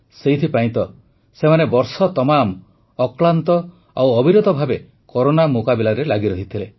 ସେଇଥିପାଇଁ ତ ସେମାନେ ବର୍ଷ ତମାମ ଅକ୍ଳାନ୍ତ ଆଉ ଅବିରତ ଭାବେ କରୋନା ମୁକାବିଲାରେ ଲାଗି ରହିଥିଲେ